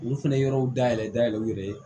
Olu fɛnɛ yɔrɔw dayɛlɛ dayɛlɛ u yɛrɛ ye